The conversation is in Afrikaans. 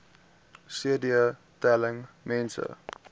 cd telling mense